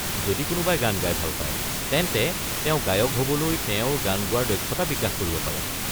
যদি কোনোবাই গান গাই ভাল পায়, তেন্তে তেওঁ গায়ক হ'বলৈ তেওঁৰ গান গোৱাৰ দক্ষতা বিকাশ কৰিব পাৰে।